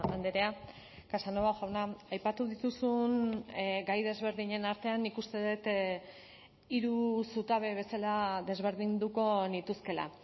andrea casanova jauna aipatu dituzun gai desberdinen artean nik uste dut hiru zutabe bezala desberdinduko nituzkeela